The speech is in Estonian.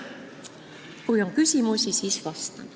Kui on küsimusi, siis vastan.